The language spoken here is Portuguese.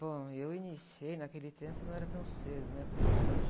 Bom, eu iniciei naquele tempo, não era tão cedo, né? Como hoje.